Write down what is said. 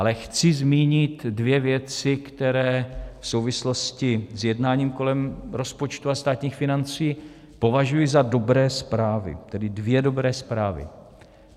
Ale chci zmínit dvě věci, které v souvislosti s jednáním kolem rozpočtu a státních financí považuji za dobré zprávy, tedy dvě dobré zprávy.